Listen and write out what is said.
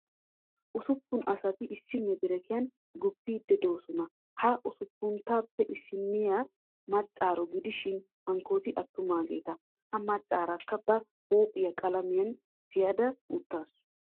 Usuppun asati issi medirekiyan guppiiddi doosona. ha usuppunatuppe issinniya maccaaro gidishin hankkooti attumaageeta. Ha maccaarakka ba huuphiyan qalamiyan tiyada uttaasu.